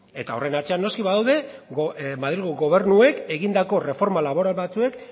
eta horren atzean badaude noski madrilgo gobernuek egindako erreforma laboral batzuek